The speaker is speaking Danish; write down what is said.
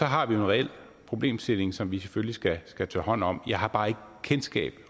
har vi en reel problemstilling som vi selvfølgelig skal tage hånd om jeg har bare ikke kendskab til